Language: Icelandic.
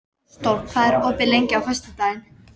Ásdór, hvað er opið lengi á föstudaginn?